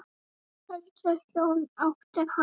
Öldruð hjón áttu hann.